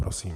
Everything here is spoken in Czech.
Prosím.